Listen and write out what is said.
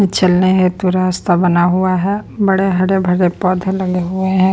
चलने हेतु रास्ता बना हुआ है बड़े हरे भरे पौधे लगे हुए है।